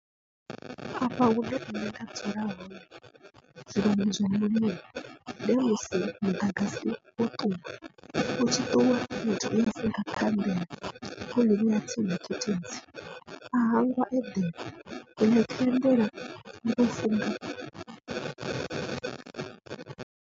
Afha hune nṋe nda dzula hone ndi musi muḓagasi wo ṱuwa, utshi ṱuwa wo funga khanḓela a hangwa a eḓela zwino khanḓela .